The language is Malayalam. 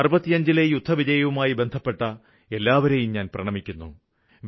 65ലെ യുദ്ധവിജയവുമായി ബന്ധപ്പെട്ട എല്ലാവരേയും ഞാന് പ്രണമിക്കുന്നു